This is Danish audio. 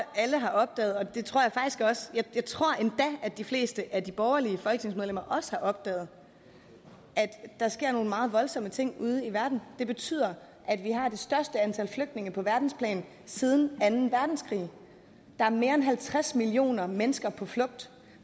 alle har opdaget og jeg tror endda at de fleste af de borgerlige folketingsmedlemmer også har opdaget at der sker nogle meget voldsomme ting ude i verden det betyder at vi har det største antal flygtninge på verdensplan siden anden verdenskrig der er mere end halvtreds millioner mennesker på flugt